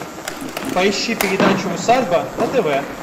поищи передачу усадьба на тв